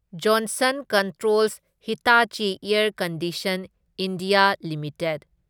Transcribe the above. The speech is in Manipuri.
Johnson controls Hitachi air conditioning. India limited